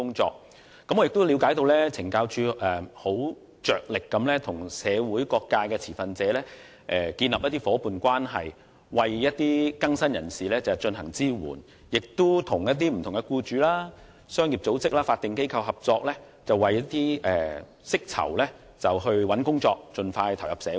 此外，我亦了解到懲教署着力與社會各界持份者建立夥伴關係，為更生人士提供支援，亦與不同僱主、商業組織和法定機構合作，為釋囚尋找工作，讓他們盡快投入社會。